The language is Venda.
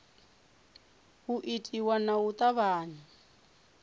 u itiwa nga u tavhanya